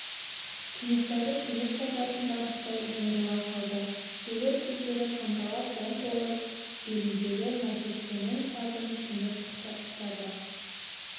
кенесары кенет шабатын барыстай жиырыла қалды шегір көздері қанталап оң қолы беліндегі наркескеннің сабын кенет қыса ұстады